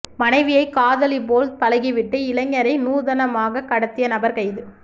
மனைவியை காதலி போல் பழகவிட்டு இளைஞரை நூதனமாக கடத்திய நபர் கைது